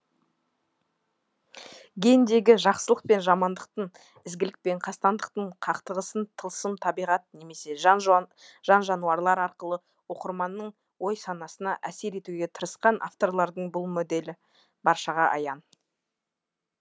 гендегі жақсылық пен жамандықтың ізгілік пен қастандықтың қақтығысын тылсым табиғат немесе жан жануарлар арқылы оқырманның ой санасына әсер етуге тырысқан авторлардың бұл моделі баршаға аян